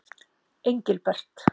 Engilbert